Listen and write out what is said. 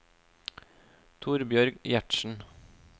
Torbjørg Gjertsen